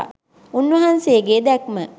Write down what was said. උන්වහන්සේගේ දැක්ම